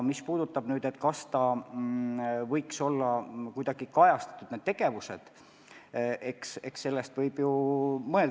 Mis puudutab seda, kas võiks asjaomased tegevused olla kuidagi kajastatud – eks sellest võib ju mõelda.